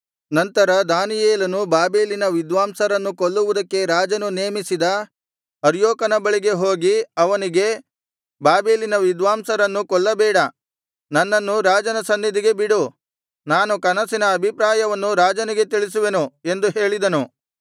ನಂತರ ದಾನಿಯೇಲನು ಬಾಬೆಲಿನ ವಿದ್ವಾಂಸರನ್ನು ಕೊಲ್ಲುವುದಕ್ಕೆ ರಾಜನು ನೇಮಿಸಿದ ಅರ್ಯೋಕನ ಬಳಿಗೆ ಹೋಗಿ ಅವನಿಗೆ ಬಾಬೆಲಿನ ವಿದ್ವಾಂಸರನ್ನು ಕೊಲ್ಲಬೇಡ ನನ್ನನ್ನು ರಾಜನ ಸನ್ನಿಧಿಗೆ ಬಿಡು ನಾನು ಕನಸಿನ ಅಭಿಪ್ರಾಯವನ್ನು ರಾಜನಿಗೆ ತಿಳಿಸುವೆನು ಎಂದು ಹೇಳಿದನು